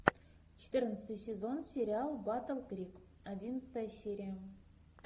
четырнадцатый сезон сериал батл крик одиннадцатая серия